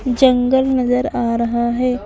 जंगल नजर आ रहा हैं ।